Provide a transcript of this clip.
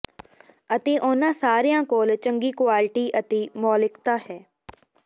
ਅਤੇ ਉਨ੍ਹਾਂ ਸਾਰਿਆਂ ਕੋਲ ਚੰਗੀ ਕੁਆਲਿਟੀ ਅਤੇ ਮੌਲਿਕਤਾ ਹੈ